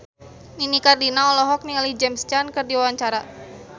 Nini Carlina olohok ningali James Caan keur diwawancara